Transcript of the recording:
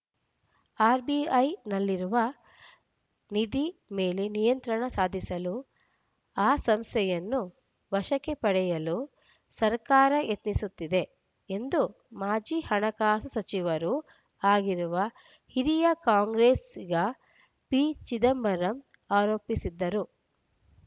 ಆರ್‌ಬಿಐನಲ್ಲಿರುವ ನಿಧಿ ಮೇಲೆ ನಿಯಂತ್ರಣ ಸಾಧಿಸಲು ಆ ಸಂಸ್ಥೆಯನ್ನು ವಶಕ್ಕೆ ಪಡೆಯಲು ಸರ್ಕಾರ ಯತ್ನಿಸುತ್ತಿದೆ ಎಂದು ಮಾಜಿ ಹಣಕಾಸು ಸಚಿವರೂ ಆಗಿರುವ ಹಿರಿಯ ಕಾಂಗ್ರೆಸ್ಸಿಗ ಪಿ ಚಿದಂಬರಂ ಆರೋಪಿಸಿದ್ದರು